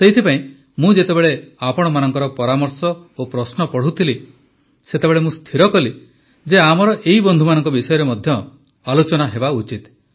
ସେଇଥିପାଇଁ ମୁଁ ଯେତେବେଳେ ଆପଣମାନଙ୍କର ପରାମର୍ଶ ଓ ପ୍ରଶ୍ନ ପଢ଼ୁଥିଲି ସେତେବେଳେ ମୁଁ ସ୍ଥିର କଲି ଯେ ଆମର ଏହି ବନ୍ଧୁମାନଙ୍କ ବିଷୟରେ ମଧ୍ୟ ଆଲୋଚନା ହେବା ଉଚିତ